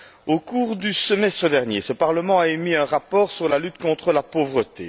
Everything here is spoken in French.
Au cours du semestre dernier, ce Parlement a adopté un rapport sur la lutte contre la pauvreté.